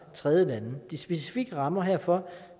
tredjelande de specifikke rammer herfor